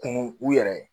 Kunun u yɛrɛ ye